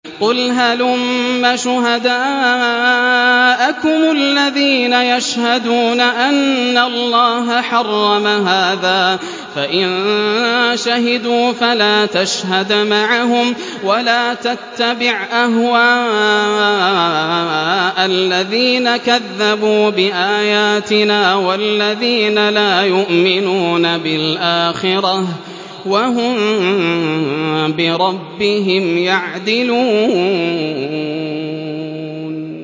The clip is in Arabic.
قُلْ هَلُمَّ شُهَدَاءَكُمُ الَّذِينَ يَشْهَدُونَ أَنَّ اللَّهَ حَرَّمَ هَٰذَا ۖ فَإِن شَهِدُوا فَلَا تَشْهَدْ مَعَهُمْ ۚ وَلَا تَتَّبِعْ أَهْوَاءَ الَّذِينَ كَذَّبُوا بِآيَاتِنَا وَالَّذِينَ لَا يُؤْمِنُونَ بِالْآخِرَةِ وَهُم بِرَبِّهِمْ يَعْدِلُونَ